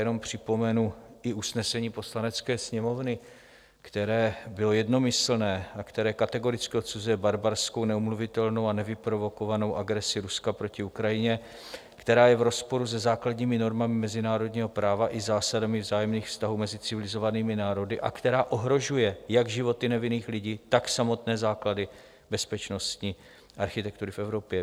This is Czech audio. Jenom připomenu i usnesení Poslanecké sněmovny, které bylo jednomyslné a které kategoricky odsuzuje barbarskou, neomluvitelnou a nevyprovokovanou agresi Ruska proti Ukrajině, která je v rozporu se základními normami mezinárodního práva i zásadami vzájemných vztahů mezi civilizovanými národy a která ohrožuje jak životy nevinných lidí, tak samotné základy bezpečnostní architektury v Evropě.